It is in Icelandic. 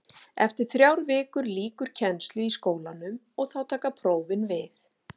Eftir þrjár vikur lýkur kennslu í skólanum og þá taka prófin við.